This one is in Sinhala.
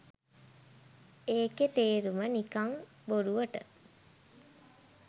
ඒකෙ තේරුම නිකං බොරුවට